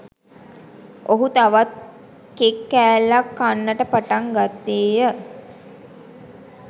ඔහු තවත් කෙක් කෑල්ලක් කන්නට පටන් ගත්තේය